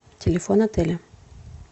телефон отеля